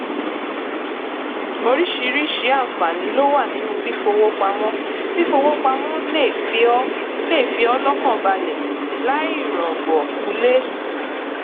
oríṣiríṣi àǹfààní ló wà nínú fífowópamọ fífowópamọ lè fi ọ lè fi ọ lọkàn balẹ láìrògbọkúlé